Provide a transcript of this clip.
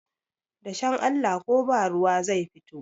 dashen Allah ko ba ruwa zai fito